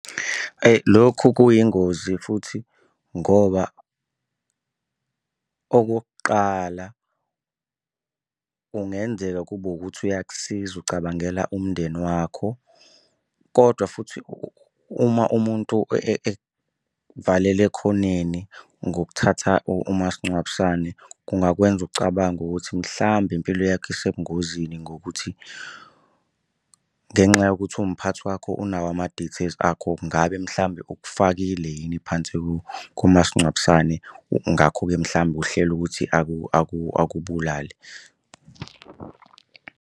Lokhu kuyingozi futhi ngoba okokuqala kungenzeka kube ukuthi uyakusiza ucabangela umndeni wakho, kodwa futhi uma umuntu ekuvalela ekhoneni ngokuthatha umasingcwabisane kungakwenza ucabange ukuthi mhlambe impilo yakho isebungozini ngokuthi, ngenxa yokuthi uwumphathi wakho unawo ama-details akho. Ngabe mhlawumbe ukufakile yini phansi kumasingcwabisane. Ngakho-ke mhlawumbe uhlele ukuthi akubulale.